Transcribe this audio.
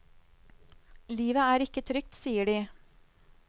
Livet er ikke trygt, sier de.